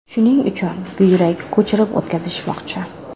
Shuning uchun buyrak ko‘chirib o‘tkazishmoqchi.